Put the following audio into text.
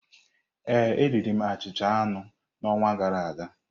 Ee, m riri achịcha aṅụ n'ọnwa gara aga.